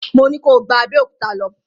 Mo ní ko gba Abẹ́òkúta lọ!